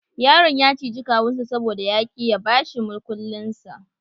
Yaron ya ciji kawunsa saboda ya ki ya bashi mukullinsa.